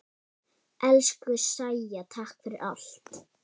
Elsku Sæja, takk fyrir allt.